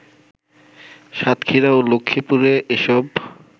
সাতক্ষীরা ও লক্ষ্মীপুরে এসব